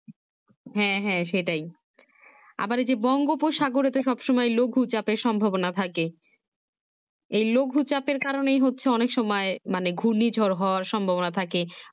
হ্যাঁ হ্যাঁ সেটাই আবার এই যে বঙ্গোপসাগরতে সব সময় লঘু চেইপ সম্ভাবনা থাকে এই লঘু চাপের কারণে হচ্ছে অনেক সময় মানে ঘূর্ণি ঝড় হওয়ার সম্ভাবনা থাকে